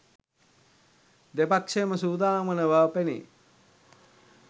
දෙපක්ෂයම සූදානම් වන බව පෙනේ